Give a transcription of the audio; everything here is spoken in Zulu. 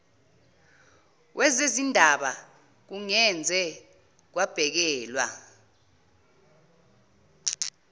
wezezindaba kungeze kwabhekelwa